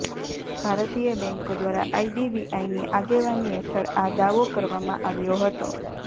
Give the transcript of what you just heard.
ભારતીય બેન્કો દ્વારાઆઇડીબીઆઇની આગેવાની હેઠળ આ દાવો કરવામાં આવ્યો હતો